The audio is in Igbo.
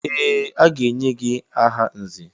Ee! A ga-enye gị aha nzè.